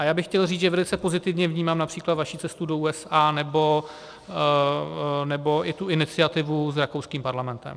A já bych chtěl říct, že velice pozitivně vnímám například vaši cestu do USA nebo i tu iniciativu s rakouským parlamentem.